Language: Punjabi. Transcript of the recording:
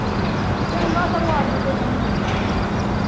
ਚੰਗਾ ਸਗੋਂ ਆਜੂ ਤੇ ਮੀਹ